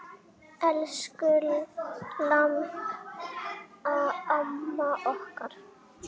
Elsku Imba amma okkar.